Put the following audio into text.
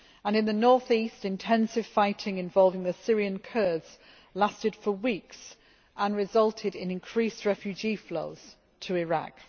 In the north east, intensive fighting involving the Syrian Kurds lasted for weeks and resulted in increased refugee flows to Iraq.